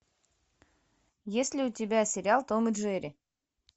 есть ли у тебя сериал том и джерри